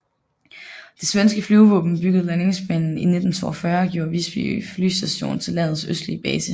Det svenske flyvevåben byggede landingsbanen i 1942 og gjorde Visby Flygstation til landets østligste base